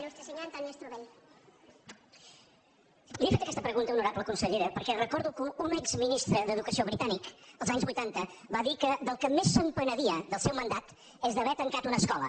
li he fet aquesta pregunta honorable consellera perquè recordo que un exministre d’educació britànic els anys vuitanta va dir que del que més es penedia del seu mandat era d’haver tancat una escola